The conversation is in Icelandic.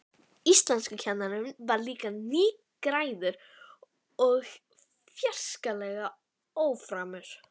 Íslenskukennarinn var líka nýgræðingur og fjarskalega óframur.